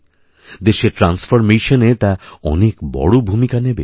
দেশের ট্রান্সফরমেশন এ তা অনেক বড় ভূমিকা নেবে